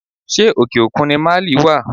Ṣé òkè òkun ni Máálì wá?